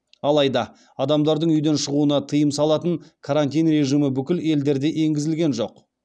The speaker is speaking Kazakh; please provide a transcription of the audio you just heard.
алайда адамдардың үйден шығуына тыйым салатын карантин режимі бүкіл елдерде енгізілген жоқ